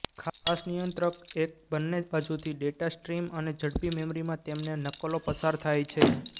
ખાસ નિયંત્રક એક બંને બાજુથી ડેટા સ્ટ્રીમ અને ઝડપી મેમરીમાં તેમને નકલો પસાર થાય છે